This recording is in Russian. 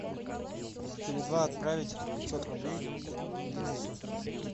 с теле два отправить пятьсот рублей денису